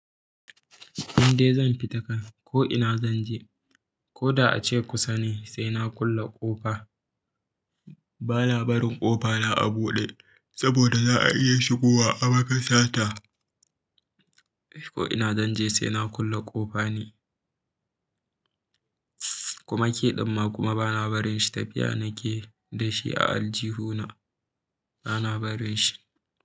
Indai zan fita kam ko ina zanje koda ace kusa ne, sai na kulle kofa bana barin ƙofa na a buɗe saboda za a iya shigo wa a maka sata. Ko ina zan je sai na kulle ƙofa ni. Kuma ki ɗan ma kuma bana barin shi, tafiya nake da shi a aljihuna bana barin shi.